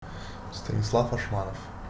станислав ашманов